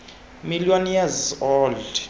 million years old